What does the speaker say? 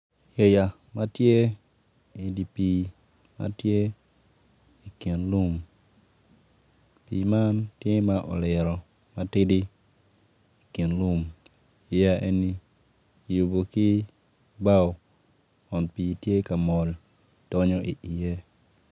Yeya ma tye i di pii ma tye i kin lum pii man tye ma oliro matidi i kin lum yeya enni kiyubu ki bao kun pii tye ka mol donyo iye